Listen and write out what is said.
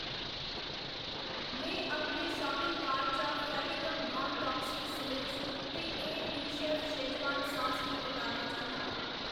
में अपने shopping cart चा फेविगम नान टाक्सिक सलेस ते एह् बिशैफ शेजवान सास गी कटाना चाह्‌न्नां।